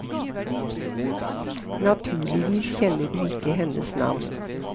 Naturligvis kjenner du ikke hennes navn.